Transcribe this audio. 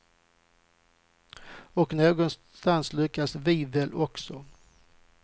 Och någonstans lyckades vi väl också.